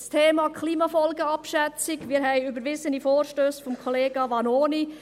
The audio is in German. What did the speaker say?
Zum Thema «Klimafolgenabschätzung»: Wir haben überwiesene Vorstösse von Kollega Vanoni.